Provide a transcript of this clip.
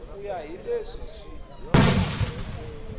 ku ya hi leswi swi